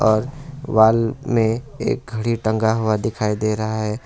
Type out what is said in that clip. और वॉल में एक घड़ी टंगा हुआ दिखाई दे रहा है।